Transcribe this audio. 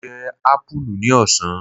Mo jẹ apulu ní ọ̀sán.